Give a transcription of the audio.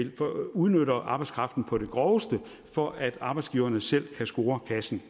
udnytter arbejdskraften på det groveste for at arbejdsgiverne selv kan score kassen